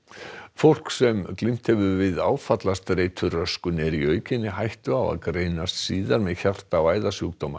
fólk sem glímt hefur við áfallastreituröskun er í aukinni hættu á að greinast síðar með hjarta og æðasjúkdóma